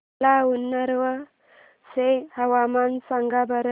मला उन्नाव चे हवामान सांगा बरं